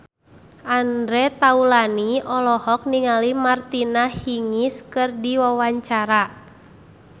Andre Taulany olohok ningali Martina Hingis keur diwawancara